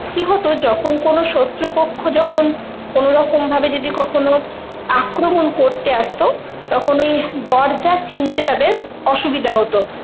কি হতো যখন কোনো শত্রু পক্ষ যখন কোনোরকম ভাবে যদি কখনো আক্রমন করতে আসতো, তখন ওই দরজা চিনতে তাদের অসুবিধে হতো